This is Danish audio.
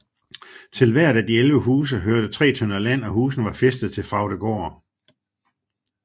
Til hvert af de 11 huse hørte 3 tønder land og husene var fæstet til Fraugdegaard